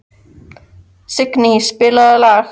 Signý, spilaðu lag.